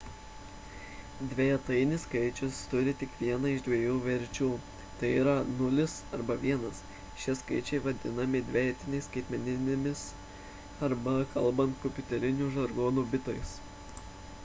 dvejetainis skaičius turi tik vieną iš dviejų verčių tai yra 0 arba 1 šie skaičiai vadinami dvejetainiais skaitmeninimis arba kalbant kompiuteriniu žargonu – bitais